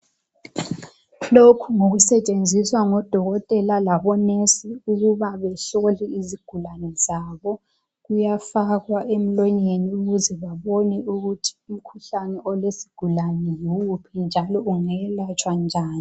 Lokhu ngokusetshenziswa ngodokotela labonesi ukuze behlole izigulani zabo kuyafakwa emlonyeni ukuze babone ukuthi umkhuhlane olesigulani yiwuphi njalo ongelatshwa njani.